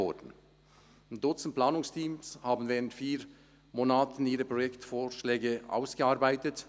Ein Dutzend Planungsteams arbeiteten während vier Monaten ihre Projektvorschläge aus.